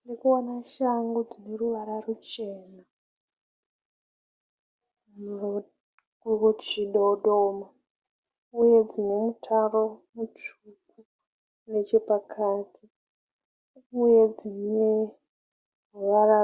Ndiri kuona shangu dzine ruvara ruchena kuchidodoma. Uye dzine mutaro mutsvuku nechepakati. Uye dzine ruvara